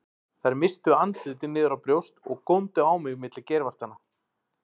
Þær misstu andlitin niður á brjóst og góndu á mig milli geirvartanna.